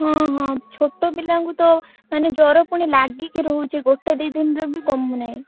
ହଁ ହଁ ଛୋଟ ପିଲାଙ୍କୁ ତ ମାନେ ଜ୍ବର ପୁଣି ଲାଗିକି ରହୁଛି ଗୋଟେ ଦି ଦିନରେ ବି କମୁନାହିଁ।